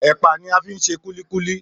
Èpà ni a fi ń ṣe kúlíkúlí